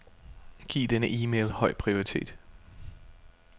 Giv denne e-mail høj prioritet.